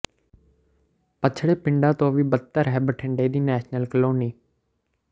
ਪਛੜੇ ਪਿੰਡਾਂ ਤੋਂ ਵੀ ਬਦਤਰ ਹੈ ਬਠਿੰਡਾ ਦੀ ਨੈਸ਼ਨਲ ਕਲੋਨੀ